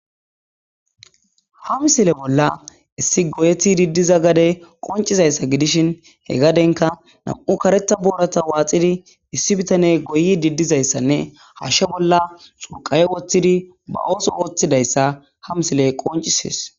Ha misile bolla issi goyeti diddiza gade qoncizayssa gidishin he gadenka nam7u kareta boorata waaxidi issi bitane goyi diddizayssanne hashshe bolla surqawe woththidi ba ooso woththidayssa ha misile qoncisees.